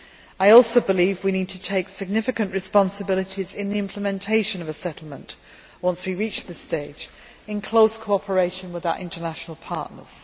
I also believe we need to take significant responsibilities in the implementation of a settlement, once we reach this stage, in close cooperation with our international partners.